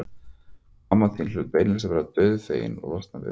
Og mamma hlaut beinlínis að vera dauðfegin að losna við þá.